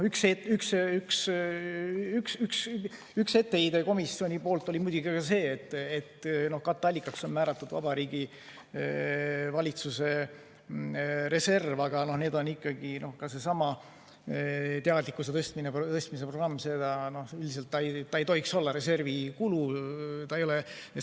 Üks etteheide komisjonilt oli muidugi ka see, et katteallikaks on määratud Vabariigi Valitsuse reserv, aga ikkagi ka seesama teadlikkuse tõstmise programm lihtsalt ei tohiks olla reservi kulu.